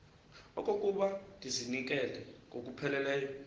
okokuba ndizinikele ngokupheleleyo